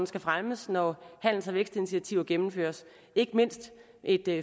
skal fremmes når handels og vækstinitiativer gennemføres ikke mindst et